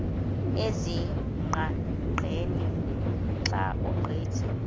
ezingqaqeni xa ugqitha